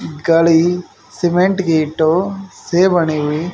गाड़ी सीमेंट ईटों से बनी हुई--